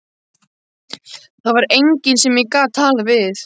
Það var enginn sem ég gat talað við.